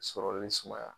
Sɔrɔli ni sumaya